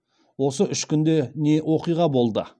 осы үш күнде не оқиға болды